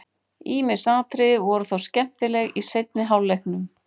Ýmis atriði voru þó skemmtileg í seinni hálfleiknum.